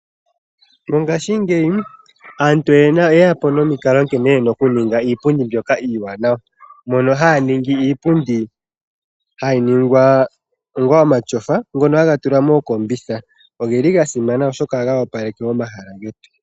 Mongaashi ngeyi aantu oyeya po nomikalo omiwanawa dhoku ninga iipundi ndjono hayi ithanwa omatyofa ngono haga tulwa mookombitha no geli gasimana oshoka ohaga opaleke omahala getu.